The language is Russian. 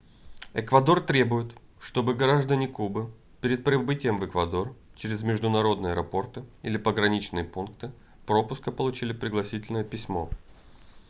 эквадор требует чтобы граждане кубы перед прибытием в эквадор через международные аэропорты или пограничные пункты пропуска получили пригласительное письмо